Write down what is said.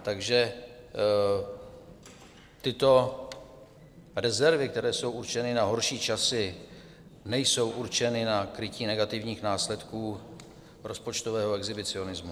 Takže tyto rezervy, které jsou určeny na horší časy, nejsou určeny na krytí negativních následků rozpočtového exhibicionismu.